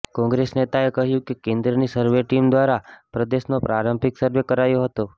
કોંગ્રેસ નેતાએ કહ્યું કે કેન્દ્રની સરવે ટીમ દ્વારા પ્રદેશનો પ્રારંભિક સરવે કરાયો હતો